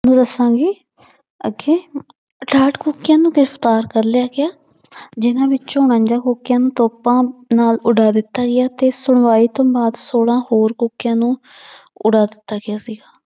ਦੱਸਾਂਗੀ ਅਠਾਹਠ ਕੂਕਿਆਂ ਨੂੰ ਗ੍ਰਿਫ਼ਤਾਰ ਕਰ ਲਿਆ ਗਿਆ ਜਿਹਨਾਂ ਵਿੱਚੋਂ ਨੂੰ ਤੋਪਾਂ ਨਾਲ ਉਡਾ ਦਿੱਤਾ ਗਿਆ ਤੇ ਛੋਲਾਂ ਹੋਰ ਕੂਕਿਆਂ ਨੂੂੰ ਉਡਾ ਦਿੱਤਾ ਗਿਆ ਸੀਗਾ।